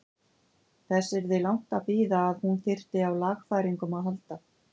Þess yrði langt að bíða að hún þyrfti á lagfæringum að halda.